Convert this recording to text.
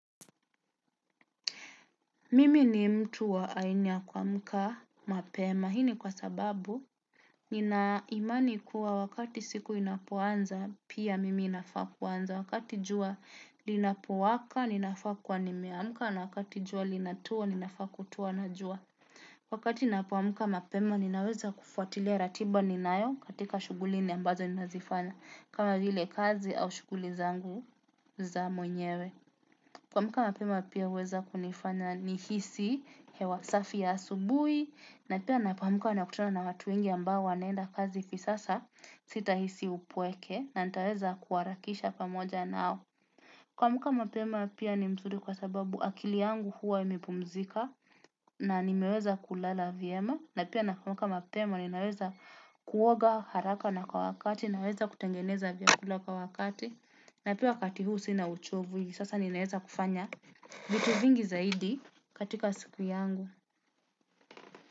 Mimi ni mtu wa aina ya kumka mapema. Hii ni kwa sababu nina imani kuwa wakati siku inapoanza pia mimi inafaa kuanza. Wakati jua linapowaka, ninafaa kuwa nimeamka. Na wakati jua linatua, ninafaa kutua na jua. Wakati napoamka mapema, ninaweza kufuatilia ratiba ninayo katika shuguli ni ambazo ninazifanya. Kama vile kazi au shuguli zangu za mwenyewe. Kuamka mapema pia huweza kunifanya nihisi hewa safi ya asubuhi na pia napoamka nakutuna na watu wengi ambao wanaenda kazi kisasa sitahisi upweke na nitaweza kuharakisha pamoja nao. Kuamka mapema pia ni nzuri kwa sababu akili yangu huwa imepumzika na nimeweza kulala vyema na pia napoamka mapema ninaweza kuoga haraka na kwa wakati naweza kutengeneza vyakula kwa wakati. Na pia wakati huu sina uchovu sasa ninaeza kufanya. Vitu vingi zaidi katika siku yangu.